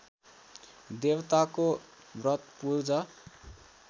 देवताको व्रत पूजा